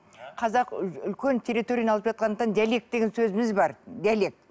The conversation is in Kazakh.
қазақ үлкен территорияны алып жатқандықтан диалект деген сөзіміз бар диалект